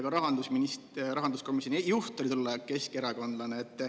Ka rahanduskomisjoni juht oli tol ajal keskerakondlane.